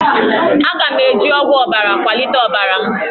Aga m eji ọgwụ ọbara kwalite ọbara m